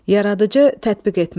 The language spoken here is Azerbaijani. Yaradıcı tətbiq etmə.